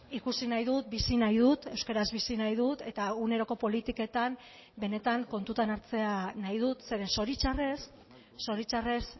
ikusi nahi dut bizi nahi dut euskaraz bizi nahi dut eta eguneroko politiketan benetan kontutan hartzea nahi dut zeren zoritxarrez zoritxarrez